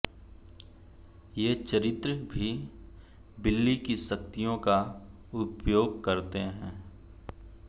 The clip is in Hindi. ये चरित्र भी बिली की शक्तियों का उपयोग करते हैं